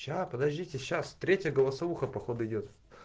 сейчас подождите сейчас третья голосовуха походу идёт